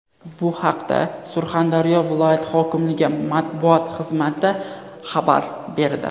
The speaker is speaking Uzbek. Bu haqda Surxondaryo viloyati hokimligi matbuot xizmati xabar berdi.